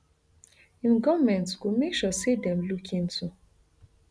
im goment go make sure say dem look into